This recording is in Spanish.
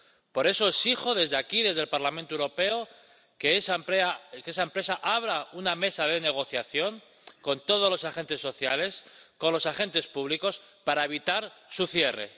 Por eso exijo desde aquí, desde el Parlamento Europeo, que esa empresa abra una mesa de negociación con todos los agentes sociales, con los agentes públicos, para evitar su cierre.